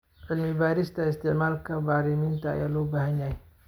Cilmi-baarista isticmaalka bacriminta ayaa loo baahan yahay.